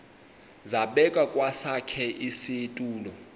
zabekwa kwesakhe isitulo